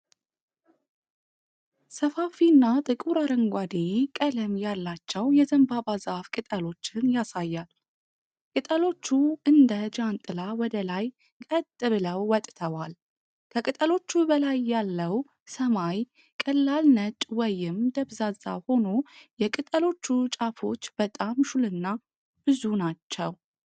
ሰፋፊና ጥቁር አረንጓዴ ቀለም ያላቸው የዘንባባ ዛፍ ቅጠሎችን ያሳያል። ቅጠሎቹ እንደ እንደ ጃንጥላ ወደ ላይ ቀጥ ብለው ወጥተዋል። ከቅጠሎቹ በላይ ያለው ሰማይ ቀላል ነጭ ወይም ደብዛዛ ሆኖ የቅጠሎቹ ጫፎች በጣም ሹልና ብዙ ናቸው።